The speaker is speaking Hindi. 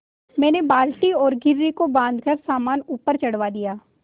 मैंने बाल्टी और घिर्री को बाँधकर सामान ऊपर चढ़वा दिया